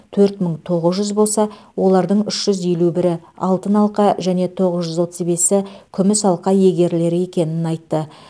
төрт мың тоғыз жүз болса олардың үш жүз елу бірі алтын алқа және тоғыз жүз отыз бесі күміс алқа иегерлері екенін айтты